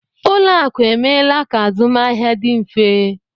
Ụlọakụ emeela ka azụmahịa dị mfe